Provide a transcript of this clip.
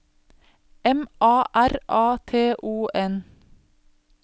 M A R A T O N